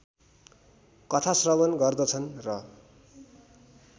कथाश्रवण गर्दछन् र